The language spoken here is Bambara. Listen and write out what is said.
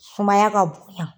Sumaya ka bonya